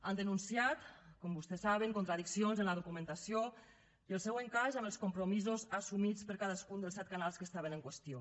han denunciat com vostès saben contradiccions en la documentació i el seu encaix amb els compromisos assumits per cadascun dels set canals que estaven en qüestió